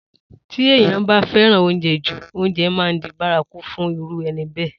Tí èèyàn bá fẹ́ràn oúnjẹ jú, oúnjẹ máa di bárakú fún irú ẹni bẹ́ẹ̀